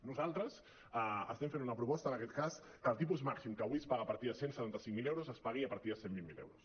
nosaltres estem fent una proposta en aquest cas que el tipus màxim que avui es paga a partir de cent i setanta cinc mil euros es pagui a partir de cent i vint miler euros